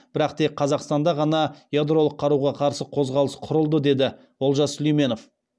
бірақ тек қазақстанда ғана ядролық қаруға қарсы қозғалыс құрылды деді олжас сүлейменов